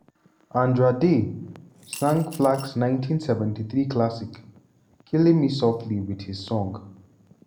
andra day sang flack's 1973 classic "killing me softly with his song."